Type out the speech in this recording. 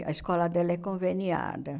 A escola dela é conveniada.